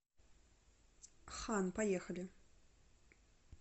хан поехали